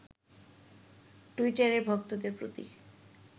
টুইটারে ভক্তদের প্রতি